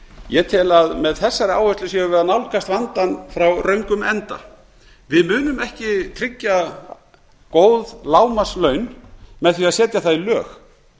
ég tel að með þessari áætlun séum við að nálgast vandann frá röngum enda við munum ekki tryggja góð lágmarkslaun með því að setja það í lög